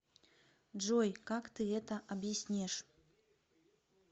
джой как ты это объяснишь